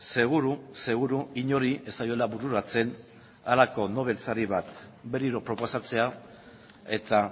seguru seguru inori ez zaiola bururatzen halako nobel sari bat berriro proposatzea eta